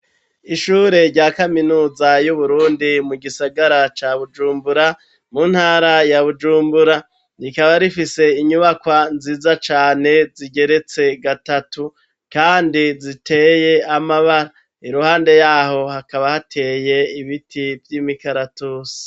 Ishure rya kaminuza y'uburundi mu gisagara ca bujumbura mu ntara ya bujumbura rikaba rifise inyubakwa nziza cane zigeretse gatatu kandi ziteye amabara iruhande yaho hakaba hateye ibiti vy'imikaratusi.